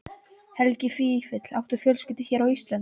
Helgi Vífill: Áttu fjölskyldu hér á Íslandi?